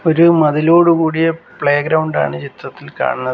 ഒരു മതിലോടുകൂടിയ പ്ലേഗ്രൗണ്ട് ആണ് ചിത്രത്തിൽ കാണുന്നത്.